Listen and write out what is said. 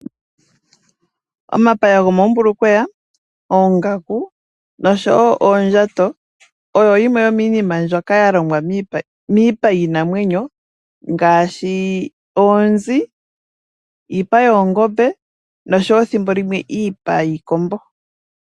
Omapaya gomoombulukweya, oongaku osho wo oondjato oyo yimwe yomiinima mbyoka ya longwa miipa yiinamwenyo ngaashi oonzi, iipa yoongombe nosho wo ethimbo limwe iipa yiikombo.